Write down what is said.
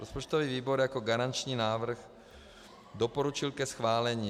Rozpočtový výbor jako garanční návrh doporučil ke schválení.